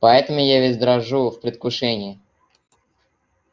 поэтому я весь дрожу в предвкушении